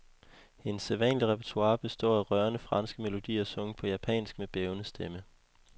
Hendes sædvanlige repertoire består af rørende franske melodier sunget på japansk med bævende stemme.